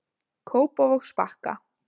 Kópavogsbakka